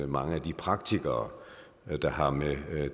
mange af de praktikere der har med